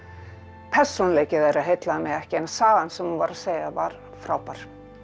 persónuleiki þeirra heillaði mig ekki en sagan sem hún var að segja var frábær